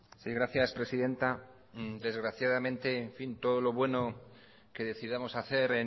sí gracias presidenta desgraciadamente en fin todo lo bueno que decidamos hacer